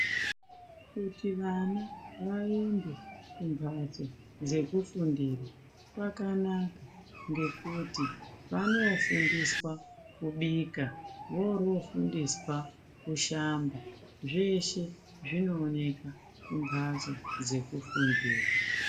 Kuti vana vaende kumbatso dzekufundira kwakanaka nekuti vanondofundiswa kubika vorofundiswa kushamba zveshe zvinooneka kumbatso dzekufundira.